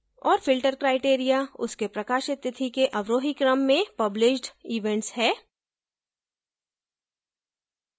और filter criteria उसके प्रकाशित तिथि के अवरोही क्रम में published events है